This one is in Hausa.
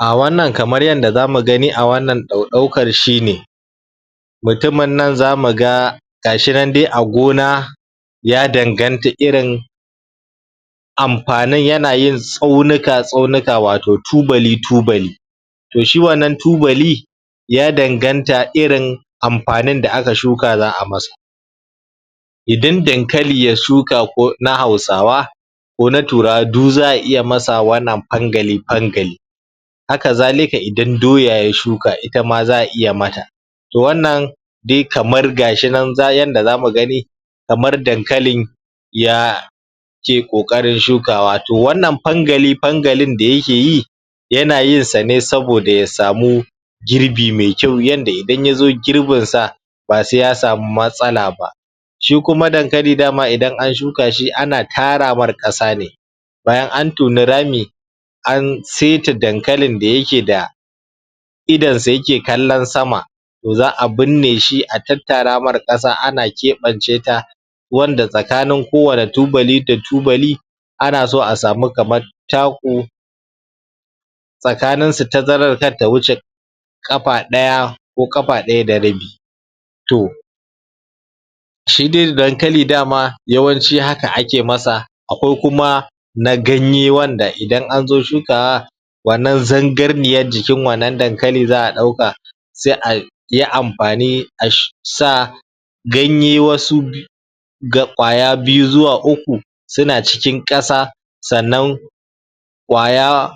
a wannan kamar yanda zamu gani a wannan ɗauɗaukar shine mutumin nan zamu ga gashinan de a gona ya danganta irin ampanin yana yin tsaunuka tsaunuka wato tubali tubali to shi wannan tubali ya danganta irin ampanin da aka shuka za'a masa idan dankali ya shuka ko na hausawa ko na turawa du za'a iya masa wannan pangali pangali haka zalika idan doya ya shuka itama za'a iya mata to wannan de kamar gashinan za yanda zamu gani kamar dankalin ya ke ƙoƙarin shukawa to wannan pangali pangalin da yake yi yana yin sa ne saboda ya samu girbi mai kyau yanda idan yazo girbin sa ba sai ya samu matsala ba shi kuma dankali dama idan an shuka shi ana tara mar ƙasa ne bayan an toni rami an seta dankalin da yake da idansa yake kallon sama to za'a binne shi a tattara mar ƙasa ana keɓance ta wanda tsakanin ko wani tubali da tubali ana so a samu kamar taku tsakaninsu tazarar kar ta wuce ƙapa ɗaya ko ƙapa ɗaya da rabi to shi de dankali dama yawanci haka ake masa akwai kuma na ganye wanda idan anzo shukawa wannan zangarniyan jikin wannan dankali za'a ɗauka se ai ayi ampani a sh sa ganye wasu bi ga ƙwaya biyu zuwa uku suna cikin ƙasa sannan ƙwaya